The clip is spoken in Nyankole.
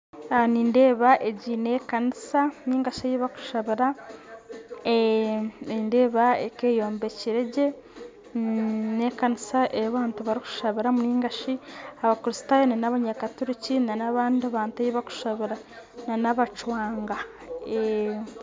Nindeeba egi na ekanisa ningashi bakushabira, nindeeba eka yombekere gye na ekanisa eya bantu barikushabiramu ningashi Abakristayo na Banyakaturikyi na nabantu ei bakushabira na nabacwanga